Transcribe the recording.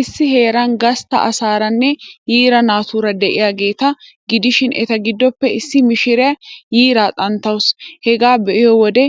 Issi heeran gastta asaaraanne yiira naatuura de'iyaageeta gidishin, eta giddoppe issi mishiriyaa yiiraa xanttawusu. Hegaa be'iyoo wode